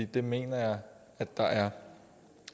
det mener jeg at der er